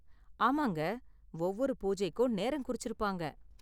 ஆமாங்க, ஒவ்வொரு பூஜைக்கும் நேரம் குறிச்சிருப்பாங்க.